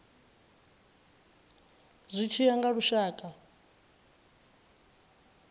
zwi tshi ya nga lushaka